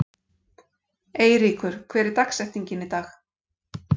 Eyríkur, hver er dagsetningin í dag?